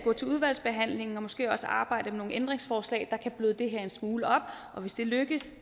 gå til udvalgsbehandlingen og måske også arbejde med nogle ændringsforslag der kan bløde det her en smule op hvis det lykkes